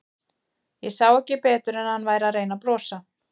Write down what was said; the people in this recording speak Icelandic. Ég sá ekki betur en að hann væri að reyna að brosa.